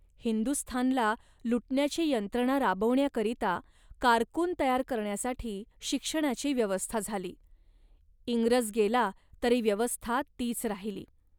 हिंदुस्थानला लुटण्याची यंत्रणा राबवण्याकरिता कारकून तयार करण्यासाठी शिक्षणाची व्यवस्था झाली. इंग्रज गेला तरी व्यवस्था तीच राहिली